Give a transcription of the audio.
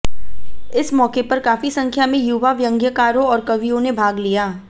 इस मौके पर काफी संख्या में युवा व्यंग्यकारों और कवियों ने भाग लिया